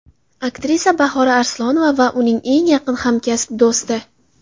Aktrisa Bahora Arslonova va uning eng yaqin hamkasb do‘sti.